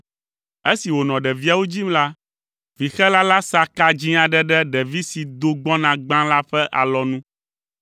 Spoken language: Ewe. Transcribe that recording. Esi wònɔ ɖeviawo dzim la, vixela la sa ka dzĩ aɖe ɖe ɖevi si do gbɔna gbã la ƒe alɔnu,